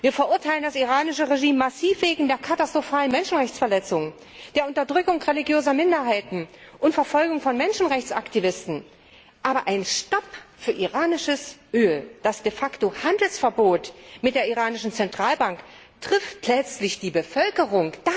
Wir verurteilen das iranische Regime massiv wegen der katastrophalen Menschenrechtsverletzungen, der Unterdrückung religiöser Minderheiten und der Verfolgung von Menschenrechtsaktivisten, aber ein Stopp für iranisches Öl durch das De facto Handelsverbot mit der iranischen Zentralbank trifft letztlich die Bevölkerung.